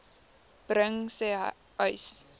bring sê uys